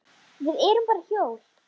Við erum bara hjól.